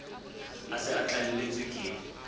a se a tlalletswe ke